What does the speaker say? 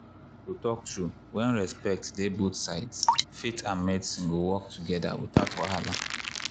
to talk true when respect dey both sides faith and medicine go work together without wahala.